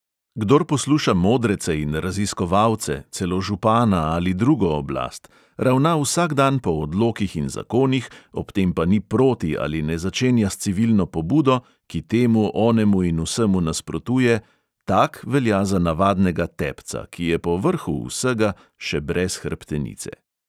Kdor posluša modrece in raziskovalce, celo župana ali drugo oblast, ravna vsak dan po odlokih in zakonih, ob tem pa ni proti ali ne začenja s civilno pobudo, ki temu, onemu in vsemu nasprotuje, tak velja za navadnega tepca, ki je povrhu vsega še brez hrbtenice.